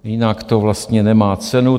Jinak to vlastně nemá cenu.